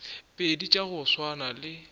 pedi tša go swana le